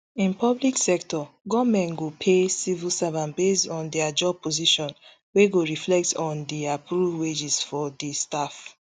in public sector goment go pay civil servant based on dia job position wey go reflect on di approved wages for di staff